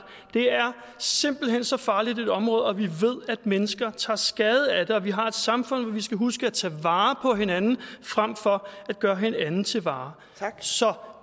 det er simpelt hen så farligt et område og vi ved at mennesker tager skade af det og vi har et samfund hvor vi skal huske at tage vare på hinanden frem for at gøre hinanden til varer så